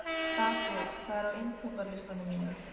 Gabríel, hvað er á innkaupalistanum mínum?